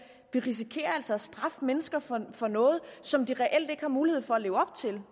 vi risikerer altså at straffe mennesker for for noget som de reelt ikke har mulighed for at leve op til